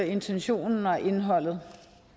intentionen og indholdet